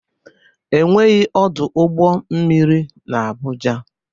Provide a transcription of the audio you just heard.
Enweghị ọdụ ụgbọ mmiri n'Abuja.